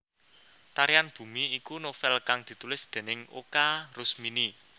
Tarian Bumi iku novèl kang ditulis déning Oka Rusmini